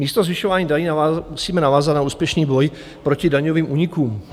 Místo zvyšování daní musíme navázat na úspěšný boj proti daňovým únikům.